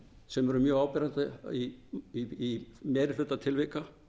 sem eru mjög áberandi í meiri hluta tilvika